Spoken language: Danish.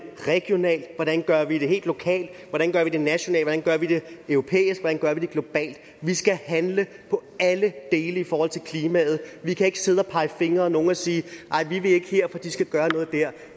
regionalt hvordan gør vi det helt lokalt hvordan gør vi det nationalt hvordan gør vi det europæisk hvordan gør vi det globalt vi skal handle på alle dele i forhold til klimaet vi kan ikke sidde og pege fingre ad nogen og sige nej vi vil ikke her for de skal gøre noget der